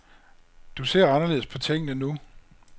Du ser anderledes på tingene nu.